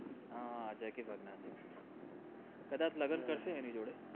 હા jacky કદાચ લગન કરશે એની જોડે